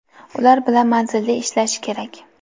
ular bilan manzilli ishlashi kerak.